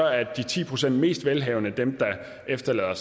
er de ti procent mest velhavende dem der efterlader